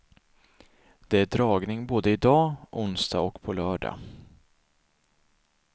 Det är dragning både i dag, onsdag och på lördag.